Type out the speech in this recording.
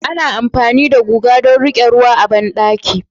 Ana amfani da guga don riƙe ruwa a bandaki